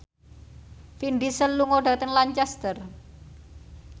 Vin Diesel lunga dhateng Lancaster